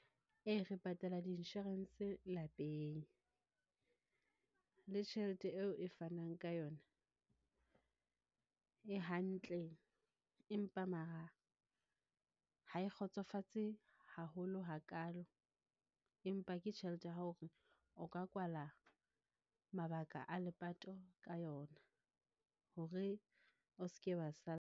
Ee, re patala di-insurance lapeng, le tjhelete eo e fanang ka yona e hantle. Empa mara ha e kgotsofatse haholo hakalo, empa ke tjhelete ya ho re o ka kwala mabaka a lepato ka yona, hore o ske wa .